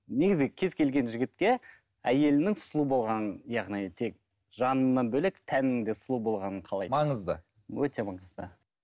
негізі кез келген жігітке әйелінің сұлу болғаны яғни тек жанынан бөлек тәнінің де сұлу болғанын қалайды маңызды өте маңызды